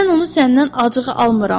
Mən onu səndən acığı almıram.